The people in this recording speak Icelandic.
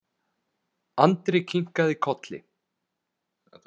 Andri kinkaði kolli.